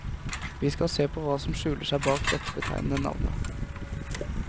Vi skal se på hva som skjuler seg bak dette betegnende navnet.